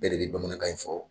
Bɛɛ de be bamanankan in fɔ